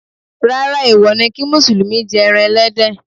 Rárá, èwo ni kí Mùsùlùmí jẹ ẹran Ẹlẹ́dẹ̀.